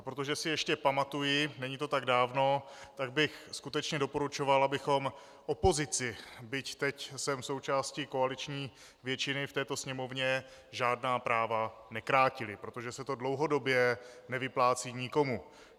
A protože si ještě pamatuji, není to tak dávno, tak bych skutečně doporučoval, abychom opozici, byť teď jsem součástí koaliční většiny v této Sněmovně, žádná práva nekrátili, protože se to dlouhodobě nevyplácí nikomu.